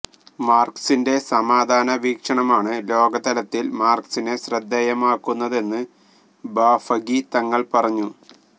മര്കസിന്റെ സമാധാന വീകഷണമാണ് ലോകതലത്തില് മര്കസിനെ ശ്രദ്ധേയമാക്കുന്നതെന്ന് ബാഫഖി തങ്ങള് പറഞ്ഞു